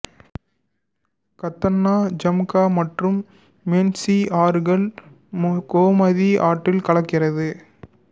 கத்தன்னா ஜும்கா மற்றும் மென்சி ஆறுகள் கோமதி ஆற்றில் கலக்கிறது